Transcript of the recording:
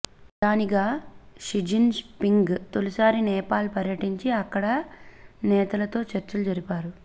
ప్రధానిగా Xi Jinping తొలిసారి నేపాల్ పర్యటించి అక్కడి నేతలతో చర్చలు జరిపారు